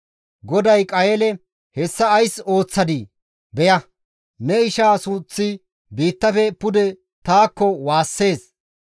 GODAY Qayeele, «Hessa ays ooththadii? Beya; ne ishaa suuththi biittafe pude taakko waassees.